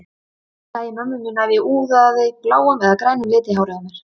Ég sæi mömmu mína ef ég úðaði bláum eða grænum lit í hárið á mér.